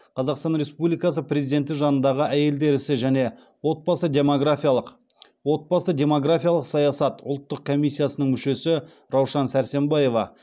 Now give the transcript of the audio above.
қазақстан республикасы президенті жанындағы әйелдер ісі және отбасы демографиялық саясат ұлттық комиссиясының мүшесі раушан сәрсембаева